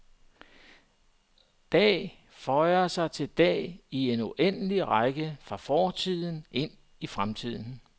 Dag føjer sig til dag i en uendelig række fra fortiden ind i fremtiden.